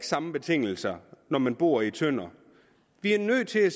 samme betingelser når man bor i tønder vi er nødt til